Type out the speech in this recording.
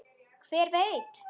Hver veit?